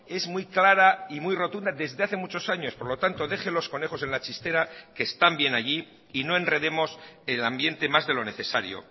es muy clara y muy rotunda desde hace muchos años por lo tanto deje los conejos en la chistera que están bien allí y no enredemos el ambiente más de lo necesario